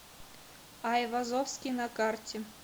айвазовский на карте